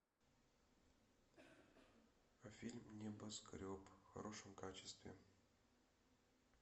фильм небоскреб в хорошем качестве